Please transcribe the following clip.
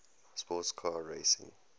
sports car racing